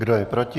Kdo je proti?